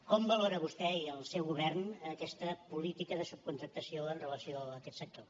com valora vostè i el seu govern aquesta política de subcontractació amb relació a aquests sector